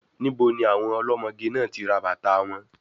Níbo ni àwọn ọlọ́mọge náà ti rà bàtàa wọn?